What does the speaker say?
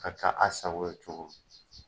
Ka taa a sago ye cogo min.